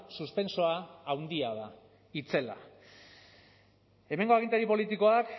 suspentsoa handia da itzela hemengo agintari politikoak